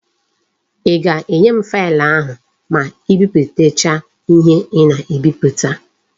I ga-enye m faịlụ ahụ ma ị biputacha ihe ị na-ebiputa?